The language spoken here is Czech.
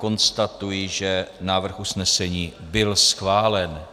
Konstatuji, že návrh usnesení byl schválen.